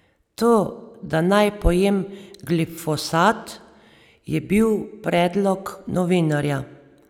To da naj pojem glifosat, je bil predlog novinarja.